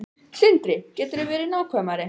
Sindri: Geturðu verið nákvæmari?